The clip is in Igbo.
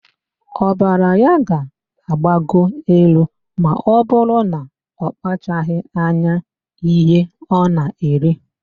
Ọbara ya ga-agbago elu ma ọbụrụ na ọkpachaghị anya ihe ọ na-eri